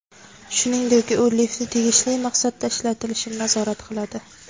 Shuningdek, u liftni tegishli maqsadda ishlatilishini nazorat qiladi.